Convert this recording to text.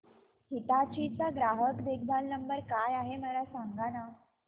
हिताची चा ग्राहक देखभाल नंबर काय आहे मला सांगाना